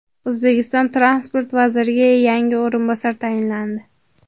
O‘zbekiston transport vaziriga yangi o‘rinbosar tayinlandi.